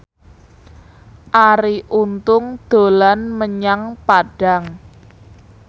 Arie Untung dolan menyang Padang